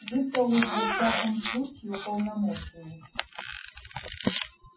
вы-то уж во всяком случае уполномочены